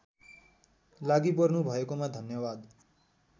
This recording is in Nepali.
लागिपर्नुभएकोमा धन्यवाद